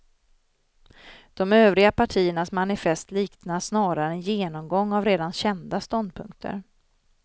De övriga partiernas manifest liknar snarare en genomgång av redan kända ståndpunkter.